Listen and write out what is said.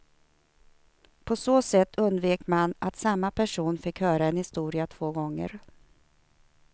På så sätt undvek man att samma person fick höra en historia två gånger.